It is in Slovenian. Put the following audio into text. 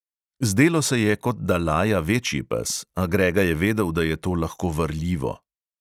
Zdelo se je, kot da laja večji pes, a grega je vedel, da je to lahko varljivo.